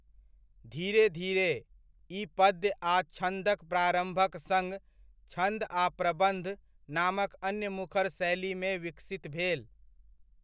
धीरे धीरे, ई पद्य आ छन्दक प्रारम्भक सङ्ग 'छन्द' आ 'प्रबन्ध' नामक अन्य मुखर शैलीमे विकसित भेल।